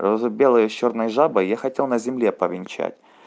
розу белую с чёрной жабой я хотел на земле повенчать